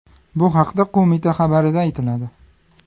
Bu haqda qo‘mita xabarida aytiladi .